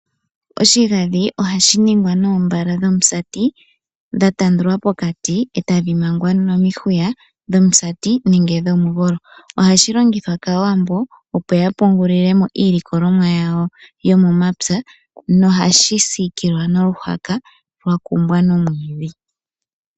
Oshigadhi ohashi ningwa noombala dhomusati dhatandulwa pokati etadhi mangwa nomihwiya dhomusati nenge dhomugolo. Ohashi longithwa kaawambo, opo ya pungulilemo iilokolomwa yawo yomomapya nohashi sikilwa noluhaka lwakumbwa nomwiidhi.